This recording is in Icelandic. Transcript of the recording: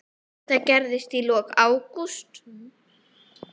Þetta gerðist í lok ágúst.